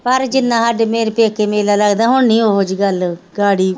ਪਰ ਜਿੰਨਾ ਸਾਡੇ ਮੇਰੇ ਪੇਕੇ ਮੇਲਾ ਲੱਗਦਾ ਹੁਣ ਨਹੀਂ ਉਹ ਜਿਹੀ ਗੱਲ ਕਰੀ